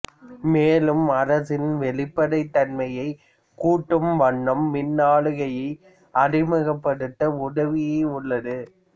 மேலும் அரசின் வெளிப்படைத் தன்மையை கூட்டும் வண்ணம் மின்னாளுகையை அறிமுகப்படுத்த உதவி உள்ளது